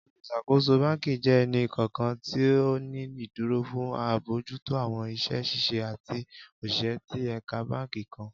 Oluṣakoso banki jẹ ẹni kọọkan ti o ni iduro fun abojuto awọn iṣẹ ṣiṣe ati oṣiṣẹ ti ẹka banki kan.